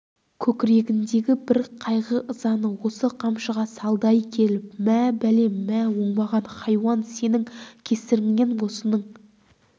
көкірегіндегі бар қайғы ызаны осы қамшыға салды-ай келіп мә бәлем мә оңбаған хайуан сенің кесіріңнен осының